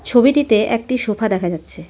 ছবিটিতে একটি সোফা দেখা যাচ্ছে।